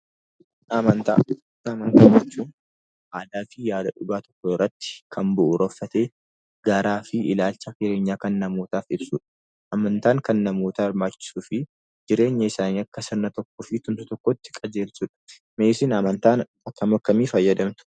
Amantaa jechuun haqaa fi yaada dhugaa tokko irratti kan bu'uureffatee fi gaaraa fi ilaalcha jireenyaa kan namootaaf ibsudha. Amantaan kan namootaaf barbaachisuu fi jireenya isaanii akka dhagna tokkoo fi tulluu tokkootti qajeelchudha. Mee isin amantaa akkam akkamii fayyadamtu?